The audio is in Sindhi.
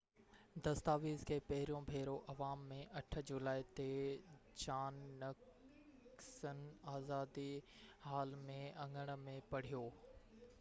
دستاويز کي پهريون ڀيرو عوام ۾ 8 جولائي تي جان نڪسن آزادي حال جي اڱڻ ۾ پڙهيو